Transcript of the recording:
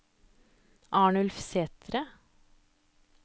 Arnulf Sæthre